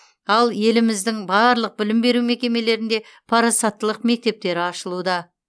ал еліміздің барлық білім беру мекемелерінде парасаттылық мектептері ашылуда